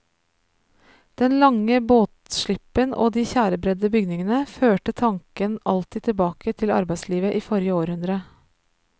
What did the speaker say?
Den lange båtslippen og de tjærebredde bygningene førte tanken alltid tilbake til arbeidslivet i forrige århundre.